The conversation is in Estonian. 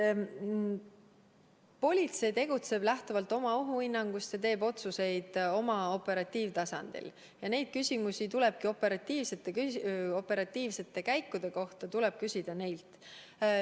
Politsei tegutseb lähtuvalt oma ohuhinnangust ja teeb otsuseid oma operatiivtasandil ja neid küsimusi operatiivsete käikude kohta tuleb küsida neilt.